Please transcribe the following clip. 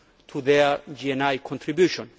to their GNI contribution.